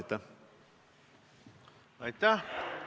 Aitäh!